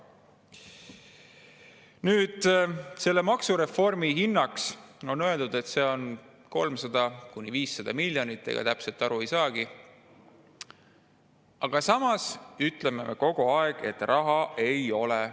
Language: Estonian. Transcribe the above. Selle maksureformi hinnaks on öeldud 300–500 miljonit, ega täpselt aru ei saagi, aga samas ütleme kogu aeg, et raha ei ole.